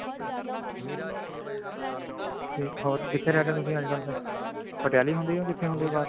ਹੋਰ ਕਿੱਥੇ ਰਹਿੰਦੇ ਹੋ ਤੁਸੀਂ ਅੱਜਕਲ ਫ਼ੇਰ ਪਟਿਆਲੇ ਹੀ ਹੁੰਦੇਹੋ ਕਿੱਥੇ ਹੁੰਦੇ ਹੋ ਬਾਹਰ